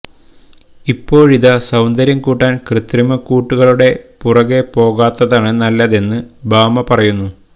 ഇപ്പോഴിതാ സൌന്ദര്യം കൂട്ടാന് കൃത്രിമക്കൂട്ടുകളുടെ പിറകേ പോകാത്തതാണ് നല്ലതെന്ന് ഭാമ പറയുന്നു